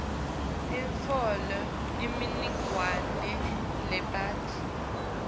utfole imininingwane lebanti